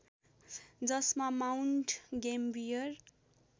जसमा Mount gambier